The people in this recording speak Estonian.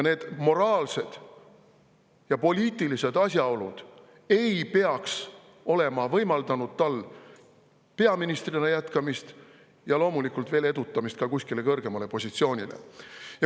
Need moraalsed ja poliitilised asjaolud ei peaks olema võimaldanud tal peaministrina jätkamist ja loomulikult mitte edutamist veel kuskile kõrgemale positsioonile.